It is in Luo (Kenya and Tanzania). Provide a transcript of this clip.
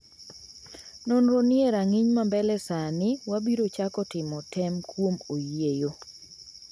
"Nonro ni e rang'iny ma mbele sani - wabiro chako timo tem kuom oyieyo."